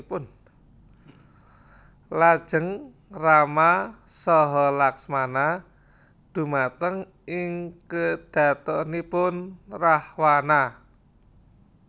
Lajeng Rama saha Laksmana dhumateng ing kedhatonipun Rahwana